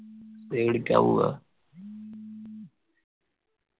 ഏടിക്ക പോവാ